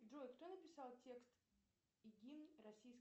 джой кто написал текст и гимн российской